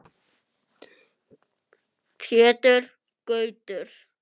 Pétur Gautur.